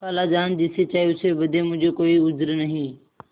खालाजान जिसे चाहें उसे बदें मुझे कोई उज्र नहीं